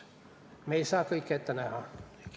Me ei saa kõike ette näha.